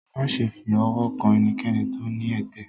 máṣe fi ọwọ kàn enikéni tó ní ẹtẹ!